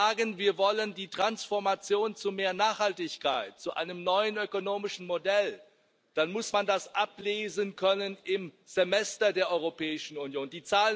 Wenn wir sagen, wir wollen die Transformation zu mehr Nachhaltigkeit, zu einem neuen ökonomischen Modell, dann muss man das ablesen können im Semester der Europäischen Union.